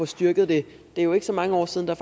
styrket det er jo ikke så mange år siden der